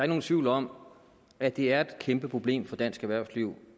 nogen tvivl om at det er et kæmpe problem for dansk erhvervsliv